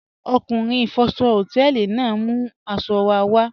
Ọkunrin ifọ̀ṣọ̀ họtẹlì naà n mú aṣọ̀ wà wà